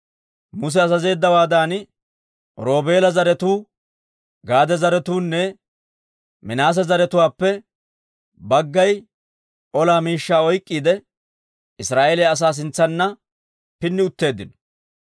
Muse azazeeddawaadan, Roobeela zaratuu, Gaade zaratuunne Minaase zaratuwaappe baggay ola miishshaa oyk'k'iide, Israa'eeliyaa asaa sintsanna pinni utteeddino.